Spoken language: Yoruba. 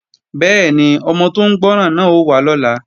Bẹ́ẹ̀ni, ọmọ tó ń gbọ́ràn náà ó wá lọ́la